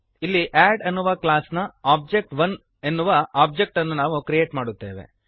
ಇಲ್ಲಿ ಅಡ್ ಎನ್ನುವ ಕ್ಲಾಸ್ನ ಒಬಿಜೆ1 ಎನ್ನುವ ಓಬ್ಜೆಕ್ಟ್ ಅನ್ನು ನಾವು ಕ್ರಿಯೇಟ್ ಮಾಡುತ್ತೇವೆ